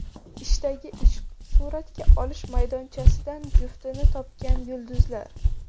Ishdagi ishq: suratga olish maydonchasidan juftini topgan yulduzlar.